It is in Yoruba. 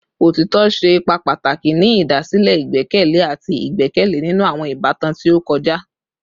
Otitọ ṣe ipa pataki ni idasile igbẹkẹle ati igbẹkẹle ninu awọn ibatan ti o kọja